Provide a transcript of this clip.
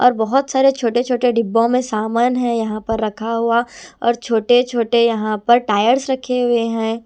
और बहोत सारे छोटे छोटे डिब्बों में समान है यहां पर रखा हुआ और छोटे छोटे यहां पर टायर्स रखे हुए हैं।